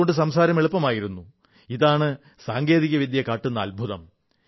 അതുകൊണ്ട് സംസാരം എളുപ്പമായിരുന്നു ഇതാണ് സാങ്കേതിക വിദ്യ കാട്ടുന്ന അദ്ഭുതം